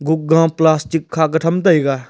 gukgaa plastic kha ka tham taiga.